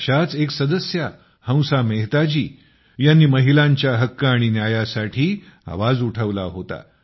अशाच एक सदस्या हंसा मेहताजी ह्यांनी महिलांच्या हक्क आणि न्यायासाठी आवाज उठवला होता